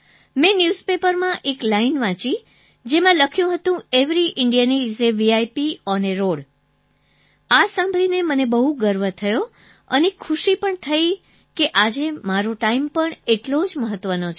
મેં ન્યૂઝપેપરમાં એક લાઈન વાંચી જેમાં લખ્યું હતું every Indian is a VIP on a road આ સાંભળીને મને બહુ ગર્વ થયો અને ખુશી પણ થઈ કે આજે મારો ટાઈમ પણ એટલો જ મહત્વનો છે